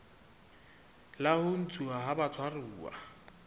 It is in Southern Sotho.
la ho ntshuwa ha batshwaruwa